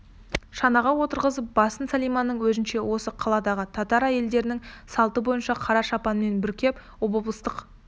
шанаға отырғызып басын сәлиманың өзінше осы қаладағы татар әйелдерінің салты бойынша қара шапанмен бүркеп обоблыстық